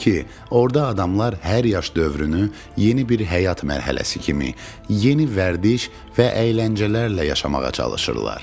orada adamlar hər yaş dövrünü yeni bir həyat mərhələsi kimi, yeni vərdiş və əyləncələrlə yaşamağa çalışırlar.